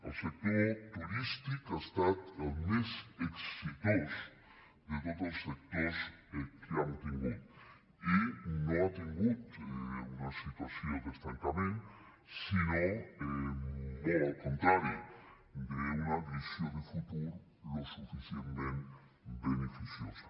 el sector turístic ha estat el més exitós de tots els sectors que hem tingut i no ha tingut una situació d’estancament sinó molt al contrari d’una visió de futur suficientment beneficiosa